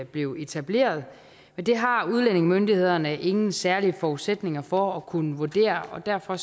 blev etableret men det har udlændingemyndighederne ingen særlige forudsætninger for at kunne vurdere derfor